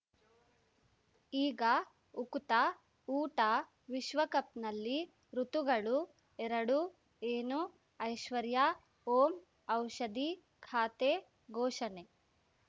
ಈಗ ಉಕುತ ಊಟ ವಿಶ್ವಕಪ್‌ನಲ್ಲಿ ಋತುಗಳು ಎರಡು ಏನು ಐಶ್ವರ್ಯಾ ಓಂ ಔಷಧಿ ಖಾತೆ ಘೋಷಣೆ